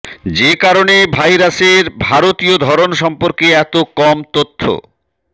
যে কারণে ভাইরাসের ভারতীয় ধরন সম্পর্কে এত কম তথ্য